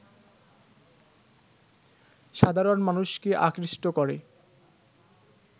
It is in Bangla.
সাধারণ মানুষকে আকৃষ্ট করে